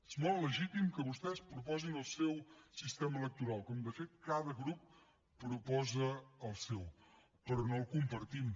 és molt legítim que vostès proposin el seu sistema electoral com de fet cada grup proposa el seu però no el compartim